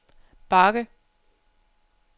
bakke